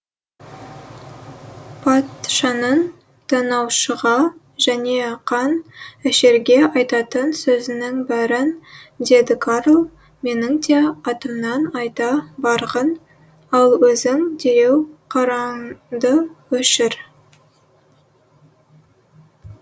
патшаның тонаушыға және қан ішерге айтатын сөзінің бәрін деді карл менің де атымнан айта барғын ал өзің дереу қараңды өшір